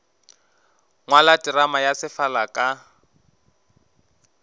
ngwala terama ya sefala ka